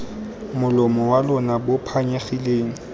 molomo wa lona bo phanyegileng